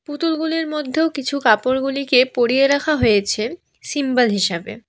পুতুলগুলির মধ্যেও কিছু কাপড়গুলিকে পড়িয়ে রাখা হয়েছে সিম্বাল হিসাবে।